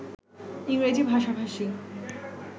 ইংরেজি ভাষাভাষী